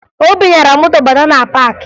Obi nyara moto bátá na paakị